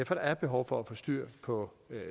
for der er behov for at få styr på